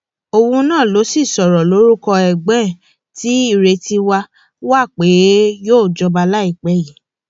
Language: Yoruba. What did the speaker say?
òun náà ló sì sọrọ lórúkọ ẹgbọn ẹ tí ìrètí wà wà pé yóò jọba láìpẹ yìí